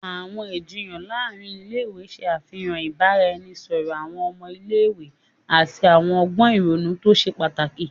Awọn ijiyan láàrin ilé-ìwé ṣe àfihàn ibaraẹnisọrọ awọn ọmọ ilé-ìwé ati awọn ọgbọn ìrònú to ṣe pàtàkì.